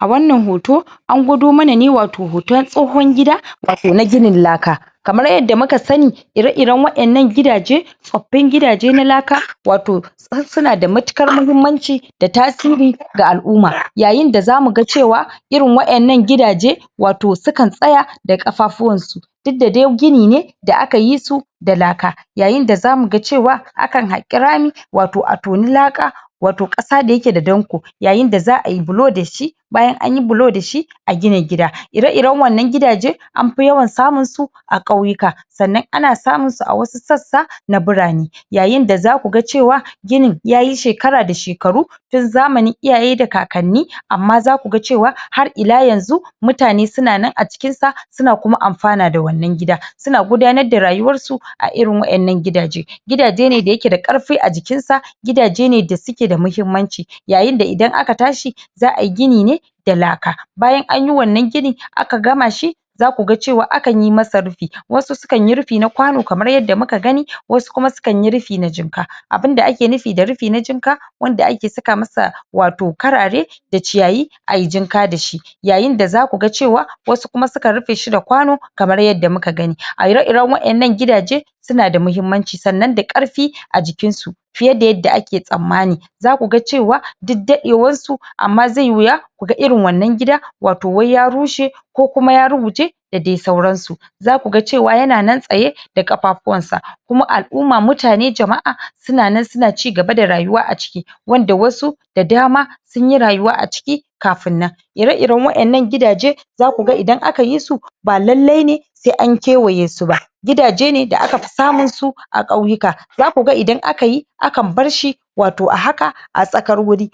A wannan hoto an gwado mana wato hoton tsohon gida, da ke na ginin laka. Kamar yadda muka sani ire-iren waƴannan gidaje tsoffin gidaje na laka, wato su suna da matuƙar mahimmanci da tasiri ga al'umma. Yayin da za mu ga cewa irin waƴannan gidaje wato sukan tsaya da ƙafafuwan su. Duk da dai gini ne da aka yi su da laka. Yayin da za mu ga cewa akan haƙi rami wato a toni laka wato ƙasa da ya ke da danƙo. Yayin da za'a yi bulo da shi Bayan anyi bulo da shi, a gina gina gida. Ire-iren waƴannan gidaje amfi yawan samun su a ƙauyuka, sannan ana samun su a wasu sassa na birane. Yayin da za ku ga cewa ginin yayi sheakar da shekaru, tun zamanin iyaye da kakanni, amma za ku ga cewa har ila yanzu mutna su nan a cikin sa su na kuma amfana da wannan gida. Su na gudanar da rayuwar su a irin waƴannan gidaje. Gidaje ne da ya ke da ƙarfi a jikin sa gidaje ne da su ke da muhimmanci. Yayinda idan aka tashe za'a yi gini ne da laka, bayan anyi wannan gini, aka gama shi, za ku ga cewa akan yi masa rufi Wasu sukan yi rufi na kwano kamar yadda muka gani, wasu kuma sukan yi rufi na jimka. Abunda ake nufin da rufi na jimka wanda ake saka masa wato karare da ciyayi ayi jimka da shi. Yayin da za ku ga cewa wasu kuma sukan rufe shi da kwano kamar yadda muka gani. A ire-iren waƴannan gidaje su na da muhimmanci, sannan da ƙarfi a jikin su. fiye da yadda ake tsammani, za ku ga cewa duk daɗewan su amma zai yi wuya kuga irin wannan gida wai ya rushe ko kuma ya ruguje da dai sauran su. Za ku ga cewa ya na nan tsaye da ƙafafuwan sa. Kuma al'umma mutane jama'a su na nan su na cigaba da rayuwa a ciki. Wanda wasu da dama sun yi rayuwa a ciki kafin nan. Ire-iren waƴannan gidaje za ku ga idan aka yi su ba lallai ne sai an kewaye su ba. Gidaje ne da aka fi samun su a ƙauyuka, za ku ga idan aka i akan bar shi wato a haka wato a tsakar wuri